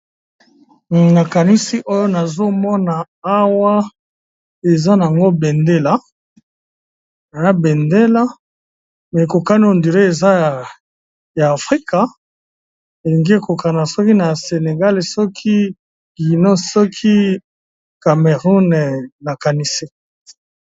nakanisi oyo nazomona awa eza nango a bendela me ekokani ondire eza ya afrika elingi ekokana soki na senegale soki gino soki cameroun nakanisi